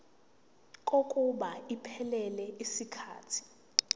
kokuba iphelele yisikhathi